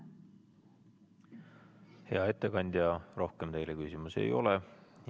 Hea ettekandja, rohkem teile küsimusi ei ole.